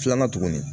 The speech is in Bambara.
Filanan tuguni